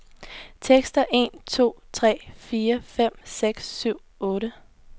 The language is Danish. Tester en to tre fire fem seks syv otte.